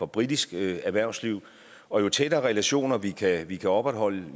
britisk erhvervsliv og jo tættere relationer vi kan vi kan opretholde